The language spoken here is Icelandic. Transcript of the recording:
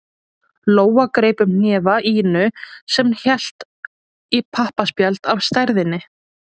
Lóa greip um hnefa Ínu sem hélt í pappaspjald af stærðinni